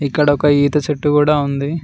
ఇక్కడ ఒక ఈత చెట్టు కూడా ఉంది.